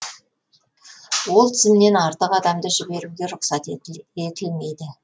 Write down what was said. ол тізімнен артық адамды жіберуге рұқсат етілмейді